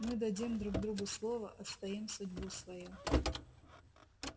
мы дадим друг другу слово отстоим судьбу свою